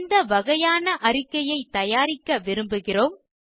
எந்த வகையான அறிக்கையைத் தயாரிக்க விரும்புகிறோம்